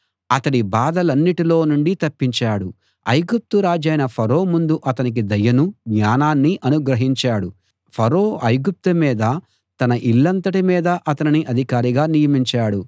అతడి బాధలన్నిటిలో నుండి తప్పించాడు ఐగుప్తు రాజైన ఫరో ముందు అతనికి దయనూ జ్ఞానాన్నీ అనుగ్రహించాడు ఫరో ఐగుప్తు మీదా తన ఇల్లంతటి మీదా అతనిని అధికారిగా నియమించాడు